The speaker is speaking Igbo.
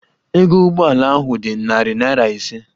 Ego Ụgbọ ala ahụ dị narị naira ise